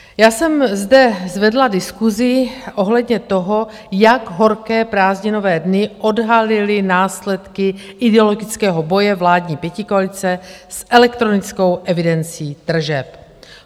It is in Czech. Já jsem zde zvedla diskusi ohledně toho, jak horké prázdninové dny odhalily následky ideologického boje vládní pětikoalice s elektronickou evidencí tržeb.